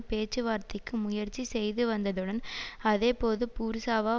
பேச்சுவார்த்தைக்கு முயற்சி செய்துவந்ததுடன் அதேபோது பூர்சவா